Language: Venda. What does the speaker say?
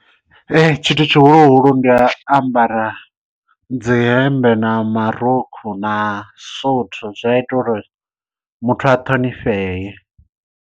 Tshithu tshihulu hulu ndi u ambara dzi hemmbe na marukhu na suthu zwi a ita uri muthu a ṱhonifhee.